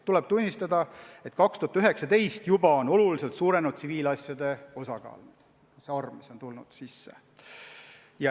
Tuleb tunnistada, et 2019. aastal juba kasvas oluliselt tsiviilasjade osakaal.